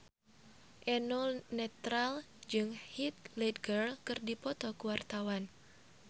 Eno Netral jeung Heath Ledger keur dipoto ku wartawan